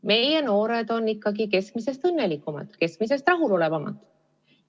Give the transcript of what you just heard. Meie noored on keskmisest õnnelikumad, keskmisest rahulolevamad.